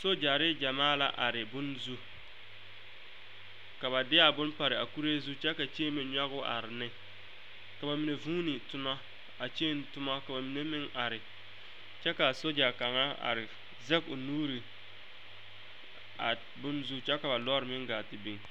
Sogyare gyɛmaa la are bonne zu ka ba de a bonne pare a kuree zu kyɛ ka kyeeme nyɔge o are ne ka ba vuune tona a kyeene toma kyɛ ka ba mine meŋ are kyɛ ka a sogya kaŋa are zage o nuure a bonne zu kyɛ ka ba lɔre meŋ gaa te are.